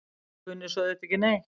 Kunni svo auðvitað ekki neitt.